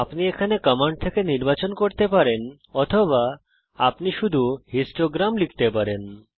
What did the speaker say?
আপনি এখানে কমান্ড থেকে নির্বাচন করতে পারেন অথবা আপনি শুধু হিস্টোগ্রাম লিখতে পারেন